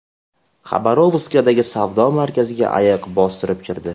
Xabarovskdagi savdo markaziga ayiq bostirib kirdi .